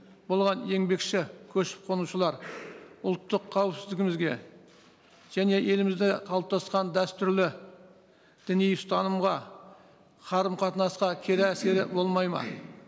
болған еңбекші көшіп қонушылар ұлттық қауіпсіздігімізге және елімізде қалыптасқан дәстүрлі діни ұстанымға қарым қатынасқа кері әсері болмайды ма